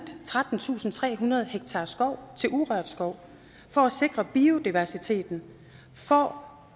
trettentusinde og trehundrede ha skov til urørt skov for at sikre biodiversiteten for